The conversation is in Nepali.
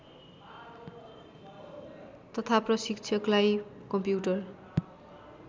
तथा प्रशिक्षकलाई कम्प्युटर